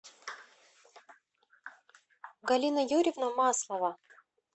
галина юрьевна маслова